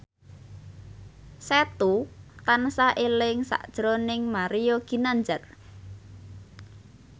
Setu tansah eling sakjroning Mario Ginanjar